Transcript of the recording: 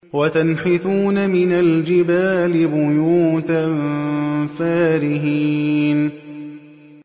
وَتَنْحِتُونَ مِنَ الْجِبَالِ بُيُوتًا فَارِهِينَ